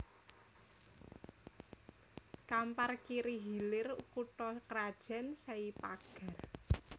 Kampar Kiri Hilir kutha krajan Sei Pagar